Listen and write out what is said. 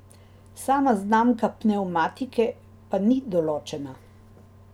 Sama znamka pnevmatike pa ni določena.